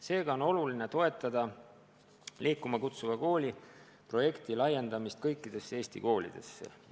Seega on oluline toetada "Liikuma kutsuva kooli" projekti laiendamist kõikidesse Eesti koolidesse.